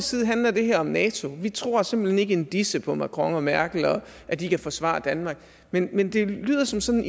side handler det her om nato vi tror simpelt hen ikke en disse på macron og merkel og at de kan forsvare danmark men men det lyder som sådan